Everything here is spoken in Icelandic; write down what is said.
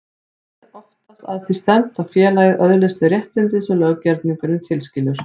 Er oftast að því stefnt að félagið öðlist þau réttindi sem löggerningurinn tilskilur.